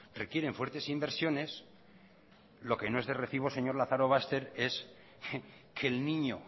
requieren fuertes inversiones lo que no es de recibo señor lazarobaster es que el niño